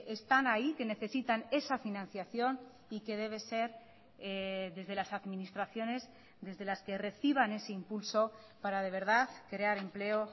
están ahí que necesitan esa financiación y que debe ser desde las administraciones desde las que reciban ese impulso para de verdad crear empleo